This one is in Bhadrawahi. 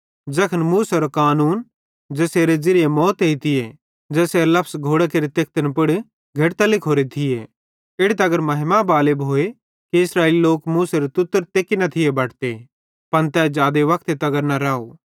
ज़ैखन मूसेरो कानून ज़ेसेरे ज़िरिये मौत एइती ज़ेसेरे लफस घोड़ां केरे तेखतिन पुड़ घेड़तां लिखोरे थिये इड़ी तगर महिमा बाले भोए कि इस्राएली लोक मूसेरे तुतरेरां तेकि न थी बटते पन तै जादे वक्ते तगर न राव